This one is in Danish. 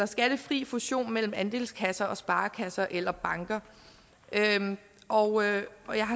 skattefri fusion mellem andelskasser og sparekasser eller banker og jeg